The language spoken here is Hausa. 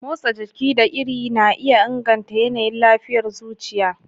Motsa jiki da iri na iya inganta yanayin lafiyar zuciya